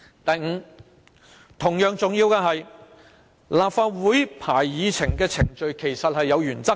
第五，同樣重要的是，立法會會議議程的編排是有原則的。